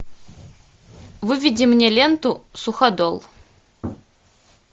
выведи мне ленту суходол